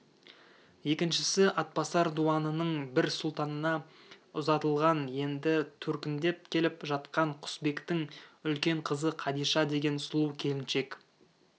екіншісі атбасар дуанының бір сұлтанына ұзатылған енді төркіндеп келіп жатқан құсбектің үлкен қызы қадиша деген сұлу келіншек